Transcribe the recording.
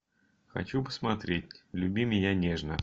хочу посмотреть люби меня нежно